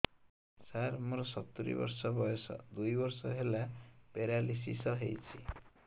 ସାର ମୋର ସତୂରୀ ବର୍ଷ ବୟସ ଦୁଇ ବର୍ଷ ହେଲା ପେରାଲିଶିଶ ହେଇଚି